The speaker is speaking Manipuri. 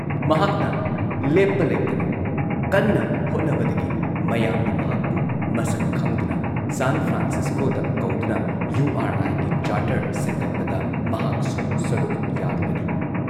ꯃꯍꯥꯛꯅ ꯂꯦꯞꯄ ꯂꯩꯇꯅ ꯀꯟꯅ ꯍꯣꯠꯅꯕꯗꯒꯤ ꯃꯌꯥꯝꯅ ꯃꯍꯥꯛꯄꯨ ꯃꯁꯛ ꯈꯪꯗꯨꯅ ꯁꯥꯟ ꯐ꯭ꯔꯥꯟꯁꯤꯁꯀꯣꯗ ꯀꯧꯗꯨꯅ ꯌꯨꯨ ꯑꯥꯔ ꯑꯥꯏꯒꯤ ꯆꯥꯔꯇꯔ ꯁꯦꯝꯒꯠꯄꯗ ꯃꯍꯥꯛꯁꯨ ꯁꯔꯨꯛ ꯌꯥꯔꯨꯕꯅꯤ ꯫